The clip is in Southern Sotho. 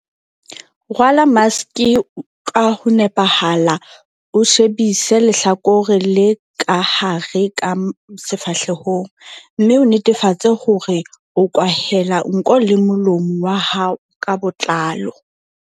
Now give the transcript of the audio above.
Rwala maske ka ho nepahala o shebise lehlakore le ka hare ka sefahlehong, mme o netefatse hore o kwahela nko le molomo wa hao ka botlalo.